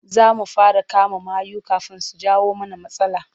Za mu fara kama mayu kafin su jawo mana matsala.